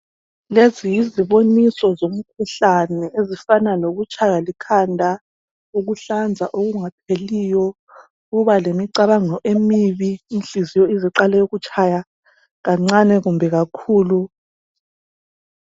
Lezi yiziboniso zomkhuhlane ezifana lokutshaywa likhanda ukuhlanza okungapheliyo ukuba lemicabango emibi inhliziyo ize iqale ukutshaya kancane kumbe kakhulu.